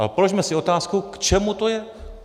Ale položme si otázku, k čemu to je.